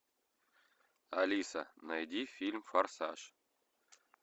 алиса найди фильм форсаж